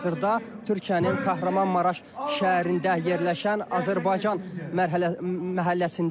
Onlar hazırda Türkiyənin Kahramanmaraş şəhərində yerləşən Azərbaycan məhəlləsindədir.